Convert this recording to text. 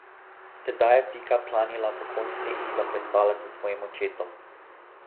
Tedaj je Pika planila pokonci in zaplesala s svojim očetom.